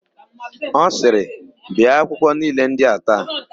Ọ sịrị, "bee akwụkwọ niile ndị a taa"!